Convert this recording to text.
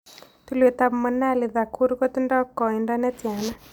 Tulwetap monali thakur kotindo koiindo netiana